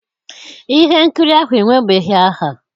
ihe nkiri ahụ enwebeghị aha.